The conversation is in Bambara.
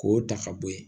K'o ta ka bɔ ye